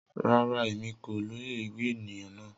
Rara, Emi ko loye ewi eniyan naa.